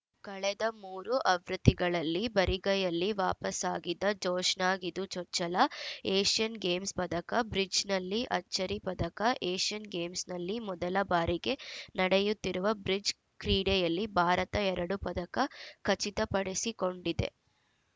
ಕಳೆದ ಮೂರು ಆವೃತ್ತಿಗಳಲ್ಲಿ ಬರಿಗೈಯಲ್ಲಿ ವಾಪಸಾಗಿದ್ದ ಜೋಶ್ನಾಗಿದು ಚೊಚ್ಚಲ ಏಷ್ಯನ್‌ ಗೇಮ್ಸ್‌ ಪದಕ ಬ್ರಿಡ್ಜ್‌ನಲ್ಲಿ ಅಚ್ಚರಿ ಪದಕ ಏಷ್ಯನ್‌ ಗೇಮ್ಸ್‌ನಲ್ಲಿ ಮೊದಲ ಬಾರಿಗೆ ನಡೆಯುತ್ತಿರುವ ಬ್ರಿಡ್ಜ್‌ ಕ್ರೀಡೆಯಲ್ಲಿ ಭಾರತ ಎರಡು ಪದಕ ಖಚಿತಪಡಿಸಿಕೊಂಡಿದೆ